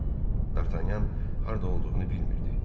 Dartanyan harda olduğunu bilmirdi.